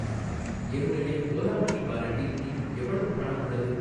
என்னுடைய ஓலா மனி வாலெட்டில் இன்னும் எவ்வளவு பணம் உள்ளது?